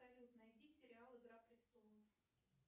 салют найди сериал игра престолов